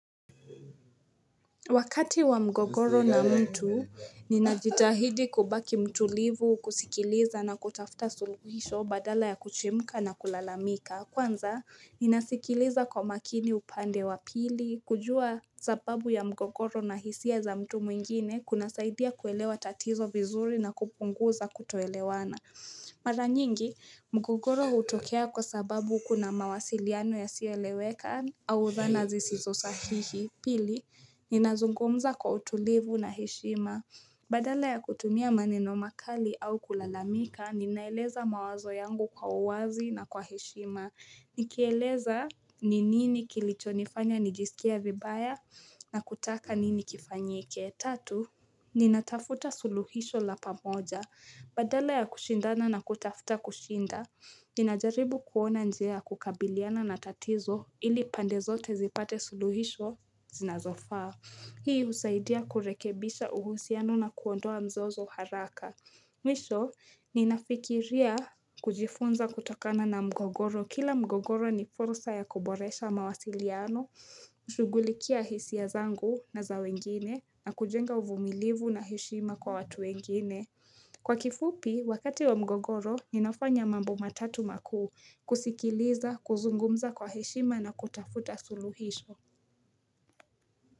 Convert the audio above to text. Wakati wa mgogoro na mtu, ninajitahidi kubaki mtulivu kusikiliza na kutafuta suluhisho badala ya kuchemka na kulalamika. Kwanza, ninasikiliza kwa makini upande wa pili. Kujua sababu ya mgogoro na hisia za mtu mwingine, kunasaidia kuelewa tatizo vizuri na kupunguza kutoelewana. Mara nyingi, mgogoro hutokea kwa sababu kuna mawasiliano yasiyoeleweka au zana zisizo sahihi. Pili, ninazungumza kwa utulivu na heshima. Badala ya kutumia maneno makali au kulalamika, ninaeleza mawazo yangu kwa uwazi na kwa heshima. Nikieleza, ni nini kilichonifanya nijisikia vibaya na kutaka nini kifanyike. Tatu, ninatafuta suluhisho la pamoja. Badala ya kushindana na kutafuta kushinda. Ninajaribu kuona njia ya kukabiliana na tatizo ili pande zote zipate suluhisho zinazofaa Hii husaidia kurekebisha uhusiano na kuondoa mzozo haraka Mwisho ninafikiria kujifunza kutokana na mgogoro Kila mgogoro ni fursa ya kuboresha mawasiliano shughulikia hisia zangu na za wengine na kujenga uvumilivu na heshima kwa watu wengine Kwa kifupi, wakati wa mgogoro, ninafanya mambo matatu makuu, kusikiliza, kuzungumza kwa heshima na kutafuta suluhisho.